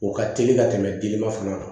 O ka teli ka tɛmɛ deliba fana kan